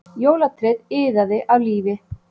Jólatréð iðaði af lífi